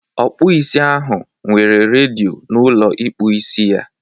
Ọkpụisi ahụ nwere redịo na ụlọ ịkpụ isi ya.